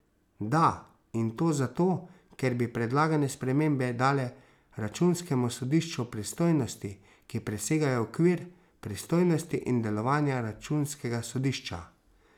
Da, in to zato, ker bi predlagane spremembe dale računskemu sodišču pristojnosti, ki presegajo okvir pristojnosti in delovanja računskega sodišča.